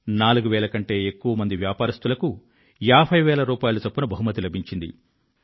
నాలుగువేల కంటే ఎక్కువమంది వ్యాపారస్థులకు ఏభై వేల చొప్పున బహుమతి లభించింది